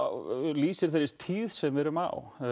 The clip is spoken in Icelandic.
lýsir þeirri tíð sem við erum á